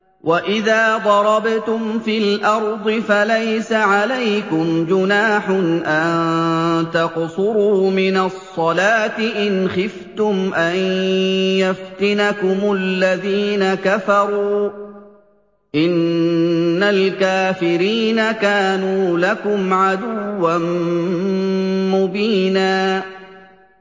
وَإِذَا ضَرَبْتُمْ فِي الْأَرْضِ فَلَيْسَ عَلَيْكُمْ جُنَاحٌ أَن تَقْصُرُوا مِنَ الصَّلَاةِ إِنْ خِفْتُمْ أَن يَفْتِنَكُمُ الَّذِينَ كَفَرُوا ۚ إِنَّ الْكَافِرِينَ كَانُوا لَكُمْ عَدُوًّا مُّبِينًا